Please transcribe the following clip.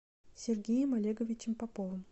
сергеем олеговичем поповым